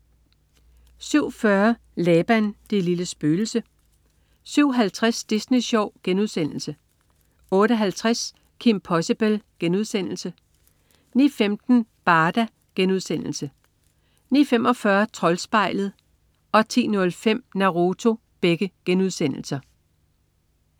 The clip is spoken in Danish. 07.40 Laban, det lille spøgelse 07.50 Disney Sjov* 08.50 Kim Possible* 09.15 Barda* 09.45 Troldspejlet* 10.05 Naruto*